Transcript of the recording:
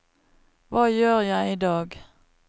hva gjør jeg idag